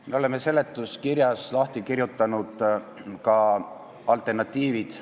Me oleme seletuskirjas lahti kirjutanud ka alternatiivid.